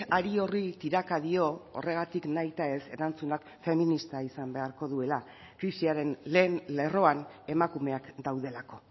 hari horri tiraka dio horregatik nahitaez erantzunak feminista izan beharko duela krisiaren lehen lerroan emakumeak daudelako